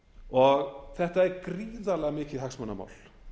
og þetta er gríðarlega mikið hagsmunamál